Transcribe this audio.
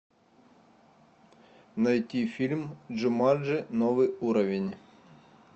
найти фильм джуманджи новый уровень